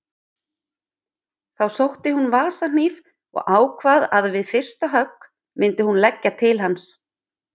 Þá sótti hún vasahníf og ákvað að við fyrsta högg myndi hún leggja til hans.